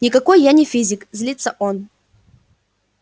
никакой я не физик злится он